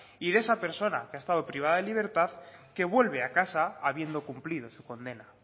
y de esa persona que ha estado privada de libertad que vuelve a casa habiendo cumplido su condena